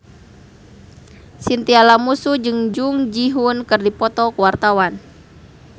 Chintya Lamusu jeung Jung Ji Hoon keur dipoto ku wartawan